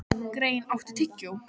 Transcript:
Grein, áttu tyggjó?